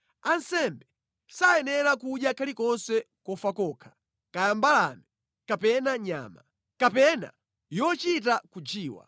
Ansembe sayenera kudya kalikonse kofa kokha, kaya mbalame, kapena nyama. Kapena yochita kujiwa.’ ”